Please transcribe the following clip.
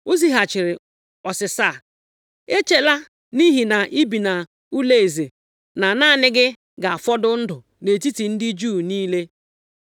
o zighachiri ọsịsa a, “Echela nʼihi na i bi nʼụlọeze na naanị gị ga-afọdụ ndụ nʼetiti ndị Juu niile.